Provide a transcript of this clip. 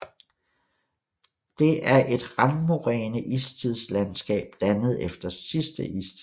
Det er et randmoræne istidslandskab dannet efter sidste istid